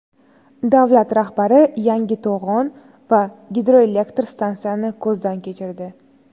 Davlat rahbari yangi to‘g‘on va gidroelektr stansiyani ko‘zdan kechirdi.